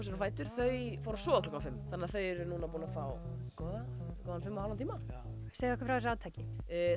þau fóru að sofa klukkan fimm þannig að þau eru búin að fá góðan fimm og hálfan tíma segið okkur frá þessu átaki